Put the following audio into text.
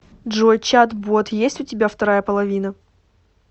джой чат бот есть у тебя вторая половина